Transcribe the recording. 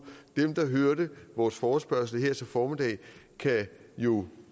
dem der hørte vores forespørgsel her i formiddag kan jo